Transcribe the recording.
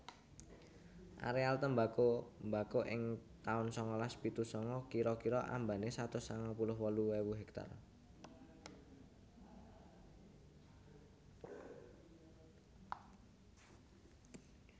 Aréal tembako mbako ing taun sangalas pitu sanga kira kira ambané satus sangang puluh wolu ewu hektar